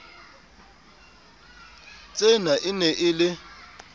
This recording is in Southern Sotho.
tsena e ne e le